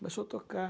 Começou a tocar.